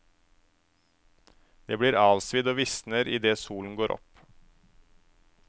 Det blir avsvidd og visner idet solen går opp.